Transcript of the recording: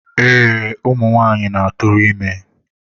Ee, ụmụ nwaanyị na-atụrụ ime.